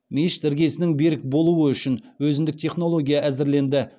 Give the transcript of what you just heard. мешіт іргесінің берік болуы үшін өзіндік технология әзірленді